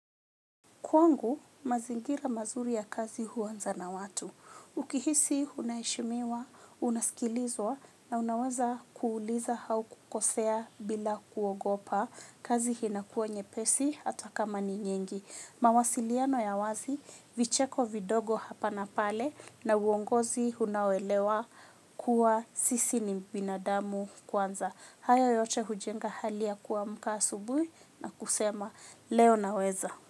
Kwangu, mazingira mazuri ya kazi huanza na watu. Ukihisi, unaheshimiwa, unasikilizwa, na unaweza kuuliza au kukosea bila kuogopa. Kazi inakuwa nyepesi, hata kama ni nyingi. Mawasiliano ya wazi, vicheko vidogo hapa na pale, na uongozi unaoelewa kuwa sisi ni binadamu kwanza. Haya yote hujenga hali ya kuamka asubuhi na kusema, leo naweza.